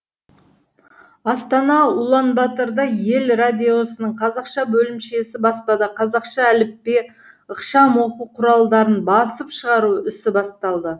астана уланбатырда ел радиосының қазақша бөлімшесі баспада қазақша әліппе ықшам оқу құралдарын басып шығару ісі басталды